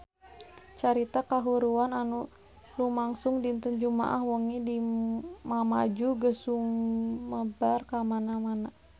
Carita kahuruan anu lumangsung dinten Jumaah wengi di Mamuju geus sumebar kamana-mana